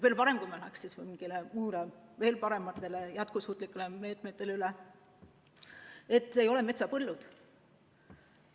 Veel parem, kui me läheksime üle veel parematele jätkusuutlikele meetmetele, et ei oleks vaid metsapõllud.